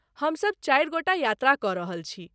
हमसब चारि गोटा यात्रा कऽ रहल छी।